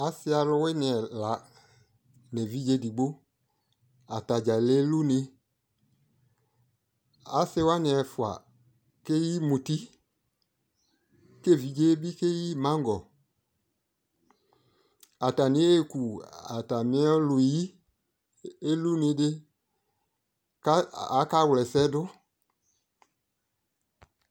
asi alowini ɛla no evidze edigbo atadza le lune asiwani ɛfua keyi muti ko evidze bi keyi maŋgɔ atani eku atame ɔlu yi ko elune di ko aka wlɔ ɛsɛ do